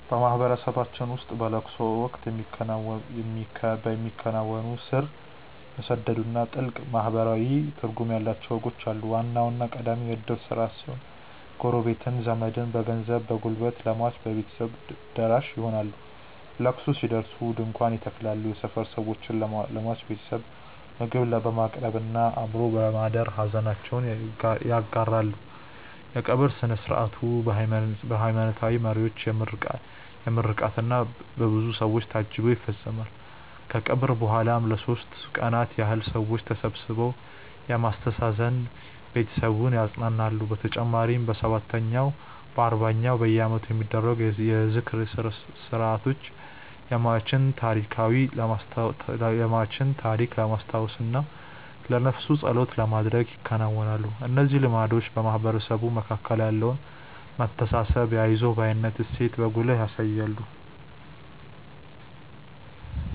በማህበረሰባችን ውስጥ በለቅሶ ወቅት የሚከናወኑ ስር የሰደዱና ጥልቅ ማህበራዊ ትርጉም ያላቸው ወጎች አሉ። ዋናውና ቀዳሚው የእድር ስርዓት ሲሆን፣ ጎረቤትና ዘመድ በገንዘብና በጉልበት ለሟች ቤተሰቦች ደራሽ ይሆናሉ። ለቅሶ ሲደርስ ድንኳን ይተከላል፣ የሰፈር ሰዎችም ለሟች ቤተሰብ ምግብ በማቅረብና አብሮ በማደር ሐዘናቸውን ይጋራሉ። የቀብር ሥነ ሥርዓቱ በሃይማኖታዊ መሪዎች ምርቃትና በብዙ ሰው ታጅቦ ይፈጸማል። ከቀብር በኋላም ለሦስት ቀናት ያህል ሰዎች ተሰብስበው በማስተዛዘን ቤተሰቡን ያጸናናሉ። በተጨማሪም በሰባተኛው፣ በአርባኛውና በዓመቱ የሚደረጉ የዝክር ሥርዓቶች የሟችን ታሪክ ለማስታወስና ለነፍሱ ጸሎት ለማድረግ ይከናወናሉ። እነዚህ ልማዶች በማህበረሰቡ መካከል ያለውን መተሳሰብና የአይዞህ ባይነት እሴትን በጉልህ ያሳያሉ።